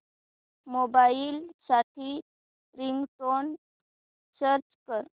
mobile साठी ringtone search कर